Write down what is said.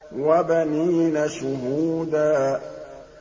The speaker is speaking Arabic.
وَبَنِينَ شُهُودًا